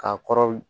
K'a kɔrɔ